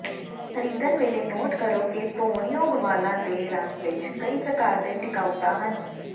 ਖਰੀਦਣ ਵੇਲੇ ਨੋਟ ਕਰੋ ਕਿ ਧੋਣਯੋਗ ਵਾਲਾਂ ਦੇ ਰੰਗ ਵਿੱਚ ਕਈ ਪ੍ਰਕਾਰ ਦੇ ਟਿਕਾਊਤਾ ਹਨ